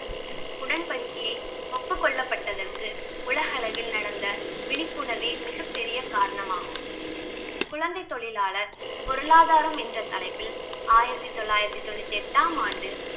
உடன்படிக்கையை ஒப்புக்கொள்ளப்பட்டதற்கு உலக அளவில் நடந்த விழிப்புணர்வே மிகப்பெரிய காரணமாகும். குழந்தை தொழிலாளர் பொருளாதாரம் என்ற தலைப்பில் ஆயிரத்தி தொள்ளாயிரத்தி தொண்ணூத்தி எட்டாம் ஆம் ஆண்டு